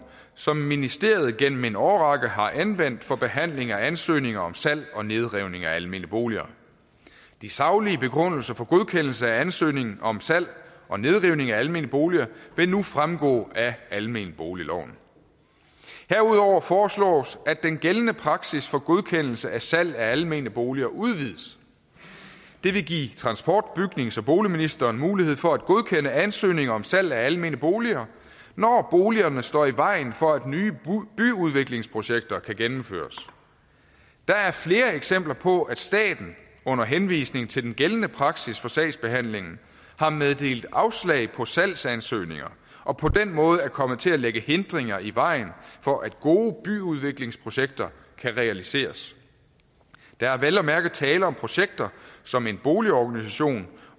som ministeriet igennem en årrække har anvendt for behandling af ansøgninger om salg og nedrivning af almene boliger de saglige begrundelser for godkendelse af ansøgningen om salg og nedrivning af almene boliger vil nu fremgå af almenboligloven herudover foreslås at den gældende praksis for godkendelse af salg af almene boliger udvides det vil give transport bygnings og boligministeren mulighed for at godkende ansøgninger om salg af almene boliger når boligerne står i vejen for at nye byudviklingsprojekter kan gennemføres der er flere eksempler på at staten under henvisning til den gældende praksis for sagsbehandlingen har meddelt afslag på salgsansøgninger og på den måde er kommet til at lægge hindringer i vejen for at gode byudviklingsprojekter kan realiseres der er vel at mærke tale om projekter som en boligorganisation